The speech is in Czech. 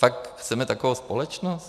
Fakt chceme takovou společnost?